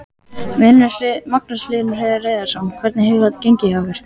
Magnús Hlynur Hreiðarsson: Hvernig hefur þetta gengið hjá ykkur?